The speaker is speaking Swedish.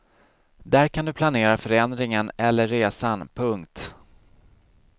Där kan du planera förändringen eller resan. punkt